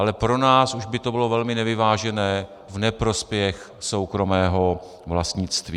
Ale pro nás už by to bylo velmi nevyvážené v neprospěch soukromého vlastnictví.